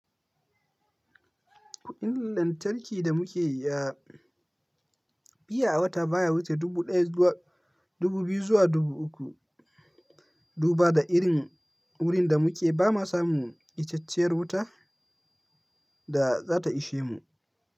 Kuɗin lantarki da muke yi a biya a wata baya wuce dubu ɗaya zuwa dubu biyu zuwa dubu uku. Duba da irin wurin da muke bama samu icce-icer wuta da za ta ishe mu.